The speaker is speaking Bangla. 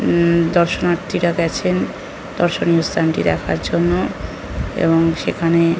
উমম দর্শনাথীরা গেছেন দর্শনীয় স্থানটির দেখার জন্য এবং সেখানে --